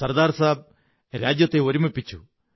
സര്ദാ്ർ സാബ് രാജ്യത്തെ ഒരുമിപ്പിച്ചു